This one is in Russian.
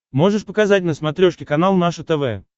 можешь показать на смотрешке канал наше тв